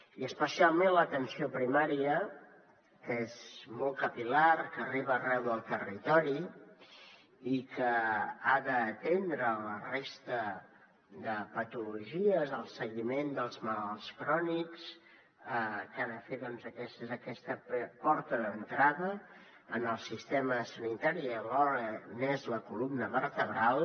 i especialment a l’atenció primària que és molt capil·lar que arriba arreu del territori i que ha d’atendre la resta de patologies el seguiment dels malalts crònics que ha de fer doncs d’aquesta porta d’entrada en el sistema sanitari i alhora n’és la columna vertebral